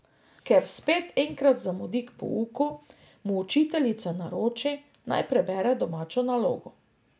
Ker spet enkrat zamudi k pouku, mu učiteljica naroči, naj prebere domačo nalogo.